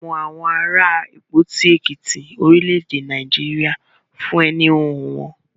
Wọn mọ àwọn ará Ìpòti, Èkìtí, orílẹ̀-èdè Nàìjíríà fún ẹni hihun wọn.